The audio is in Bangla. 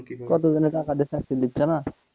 কতজনের টাকা দিয়ে চাকরি দিচ্ছে না